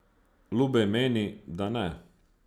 Lubej meni, da ne.